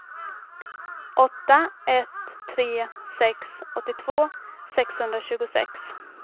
åtta ett tre sex åttiotvå sexhundratjugosex